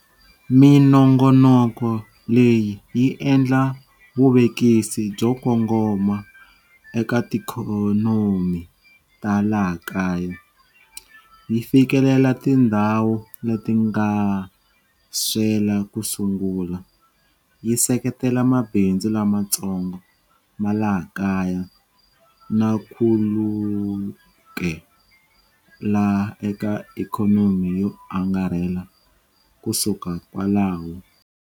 Minongonoko leyi yi endla vuvekisi byo kongoma eka tiikhonomi ta laha kaya, yi fikelela tindhawu leti nga swela ku sungula, yi seketela mabindzu lamatsongo ma laha kaya na khulukela eka ikhonomi yo angarhela kusuka kwalaho.